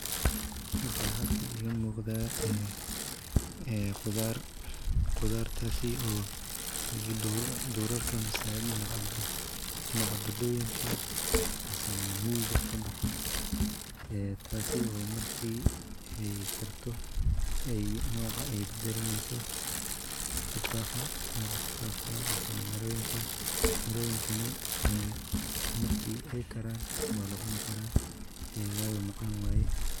Waxa halkan iga muqda qudar, qudartasi oo durarka mise dinaca badaa weynka misenah migaa kabaxaa, tasi oo markay karto nocaa ay bada laneyso, noca tufaxa mise miroyinka, miroyinkani marki ay karan wala cuni kara wayo macan waye.